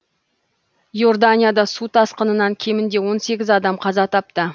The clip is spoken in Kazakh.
иорданияда су тасқынынан кемінде он сегіз адам қаза тапты